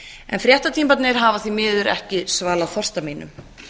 en frétta tímarnir hafa því miður ekki svalað þorsta mínum